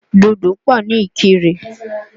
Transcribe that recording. Dòdò pọ̀ ní Ìkirè.